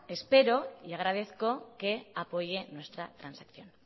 espero y agradezco que apoye nuestra transacción